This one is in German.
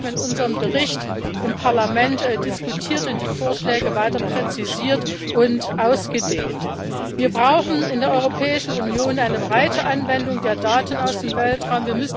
Wir haben unseren Bericht im Parlament diskutiert und die Vorschläge weiter präzisiert und ausgedehnt. Wir brauchen in der Europäischen Union eine breite Anwendung der Daten aus dem Weltraum.